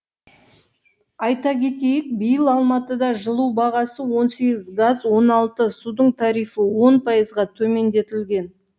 айта кетейік биыл алматыда жылу бағасы он сегіз газ он алты судың тарифі он пайызға төмендетілген